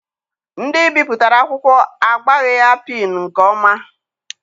Ndị bipụtara akwụkwọ agbaghị ya pịịnụ nke ọma.